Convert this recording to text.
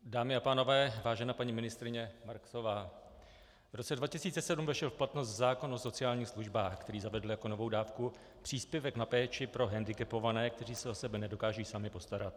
Dámy a pánové, vážená paní ministryně Marksová, v roce 2007 vešel v platnost zákon o sociálních službách, který zavedl jako novou dávku příspěvek na péči pro hendikepované, kteří se o sebe nedokážou sami postarat.